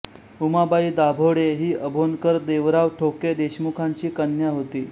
उमाबाई दाभाडे ही अभोणकर देवराव ठोके देशमुखांची कन्या होती